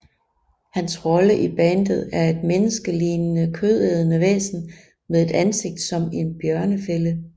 Hans rolle i bandet er et menneskelignende kødædende væsen med et ansigt som en bjørnefælde